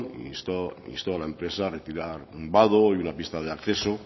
instó a la empresa a retirar un vado y una pista de acceso